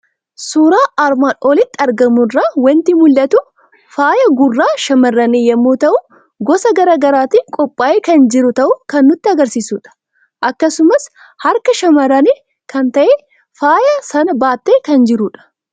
Suuraa armaan olitti argamu irraa waanti mul'atu; faayaa gurraa shammarrani yommuu ta'u, gosa garaagaraatiin qophaa'ee kan jiru ta'uu kan nutti agarsiisudha. Akkasumas harka shamarranii kan ta'e faayaa sana baate kan jirudha.